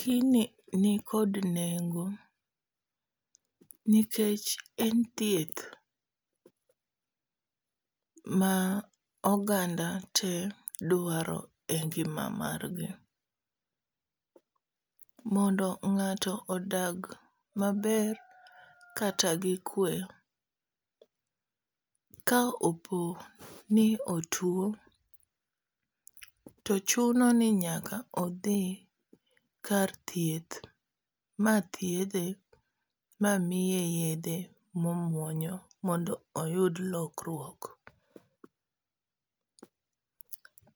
Gini nikod nengo nikech en thieth ma oganda te dwaro e ngima margi. Mondo ng'ato odag maber kata gi kwe, ka opo ni otuo to chuno ni nyaka odhi kar thieth ma thiedhe mamiye yedhe momuonyo mondo oyud lokruok.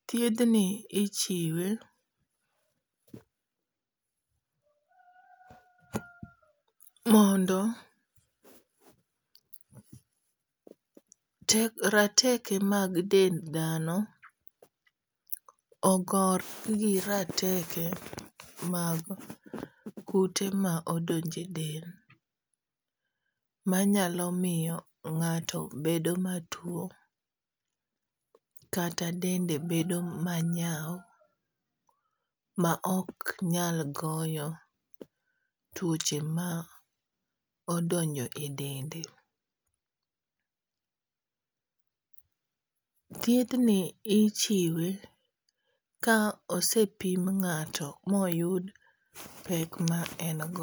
Thiedhni ichiwe mondo rateke mag dend dhano ogore gi rateke mag kute ma odonje del manyalo miyo ng'ato bedo matuo kata dende bedo ma nyaw ma ok nyal goyo tuoche ma odonjo e dende. Thieth ni ichiwe ka osepim ng'ato moyud pek ma en go.